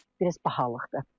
Biraz bahalıqdır.